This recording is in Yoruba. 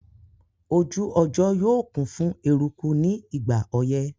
Ojú ọjọ́ yóò kún fún eruku ní ìgbà ọyẹ́